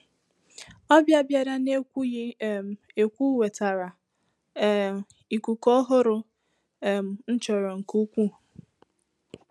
Ọbịa bịara n’ekwughị um ekwu wetara um ikuku ọhụrụ um m chọrọ nke ukwuu.